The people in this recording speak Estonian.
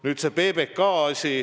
Nüüd see PBK asi.